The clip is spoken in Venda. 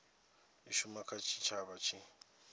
i shuma kha tshitshavha tshi